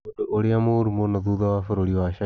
Ũndũ ũrĩa mũũru mũno thutha wa bũrũri wa China.